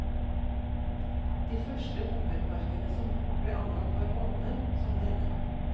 De første hummerparkene som ble anlagt var åpne, som denne.